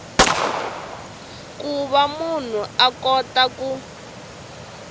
ku va munhu a kota